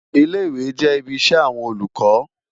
Ilé-Iwé jè ibi iṣè áwòn Ólúkò